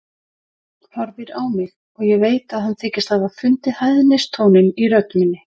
Horfir á mig og ég veit að hann þykist hafa fundið hæðnistóninn í rödd minni.